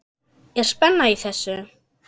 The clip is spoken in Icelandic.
Er spenna í þessu?